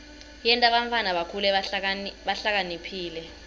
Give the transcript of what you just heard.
yenta bantfwana bakhule bahlakaniphile